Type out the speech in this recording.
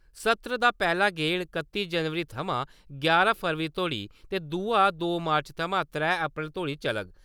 सत्र दा पैह्ला गेड़ कत्ती जनवरी थमां यारां फरवरी तोड़ी ते दूआ दो मार्च थमां त्रै अप्रैल तोड़ी चलग।